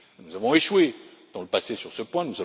Nous avons échoué dans le passé sur ce point.